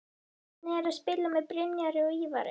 Hvernig er að spila með Brynjari og Ívari?